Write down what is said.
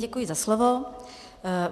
Děkuji za slovo.